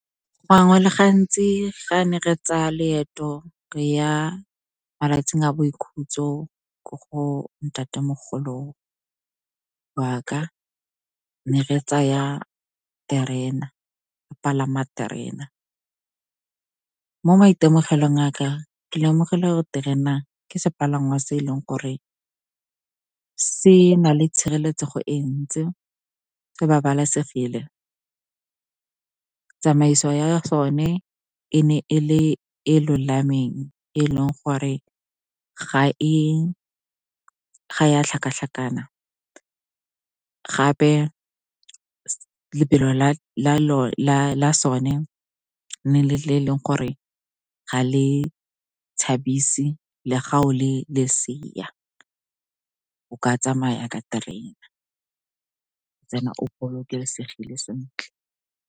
Gangwe le gantsi ga ne re tsaya leeto re ya malatsing a boikhutso ko go ntatemogolo waka, ne re palama terena. Mo maitemogelong aka, ke lemogile gore terena ke sepalangwa se e leng gore se na le tshireletsego e ntsi, se babalesegile. Tsamaiso ya sone e ne e le e lolameng, e leng gore ga ya tlhakatlhakana. Gape lebelo la sone ne le le e leng gore ga le tshabise le ga o le lesea, o ka tsamaya ka terena then o bolokesegile sentle.